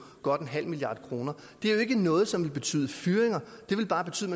godt en halv milliard kroner det er jo ikke noget som vil betyde fyringer det vil bare betyde